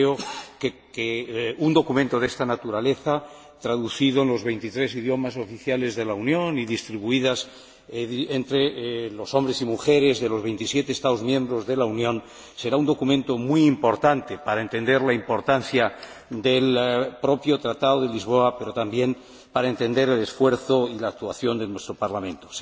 Creo que un documento de esta naturaleza, traducido a los veintitrés idiomas oficiales de la Unión y distribuido entre los hombres y mujeres de los veintisiete Estados miembros, será un documento muy importante para entender la importancia del propio Tratado de Lisboa, pero también para entender el esfuerzo y la actuación de nuestro Parlamento.